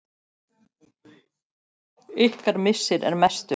Ykkar missir er mestur.